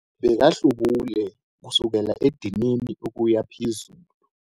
Bekahlubule kusukela edinini ukuya phezulu,